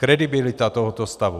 Kredibilita tohoto stavu.